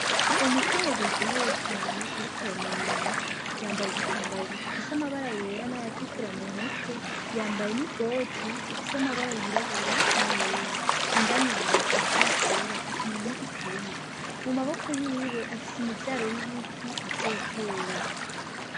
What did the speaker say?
Umukenyezi aryohewe cane ariko aramwenyura yambaye igitambara gifise amabara yera n'ayatukura mu mutwe, yambaye n'ikoti Ifise amabara yirabura n'ayera, indani yambaye agapira kera akenyeye n'igitenge, mu maboko yiwe afise imivyaro y'ibiti azotera.